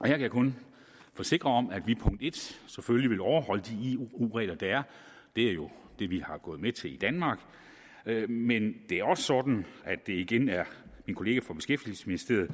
jeg kan kun forsikre om at vi selvfølgelig vil overholde de eu regler der er det er jo det vi gået med til i danmark men det er også sådan at det igen er min kollega fra beskæftigelsesministeriet